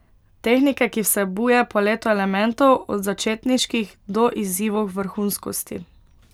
Tehnike, ki vsebuje paleto elementov, od začetniških do izzivov vrhunskosti.